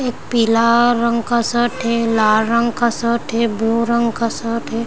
एक पीला रंग का शर्ट है लाल रंग का शर्ट है ब्लू रंग का शर्ट है।